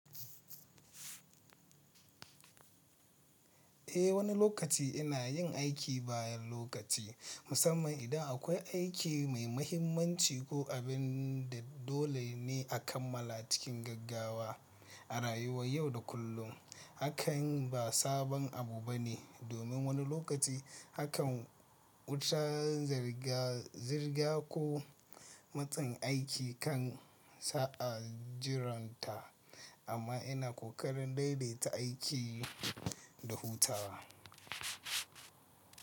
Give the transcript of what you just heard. Eh wani lokaci ina yin aiki bayan lokaci musamman idan akwai aiki mai mahimmanci ko abin da dole ne a kammala cikin gaggawa. A rayuwar yau da kullum hakan ba sabon abu ba ne. Domin wani lokaci hakan wuta, zirga ko matsin aiki kan sa a jiranta amma ina ƙoƙarin daidaita aiki da hutawa.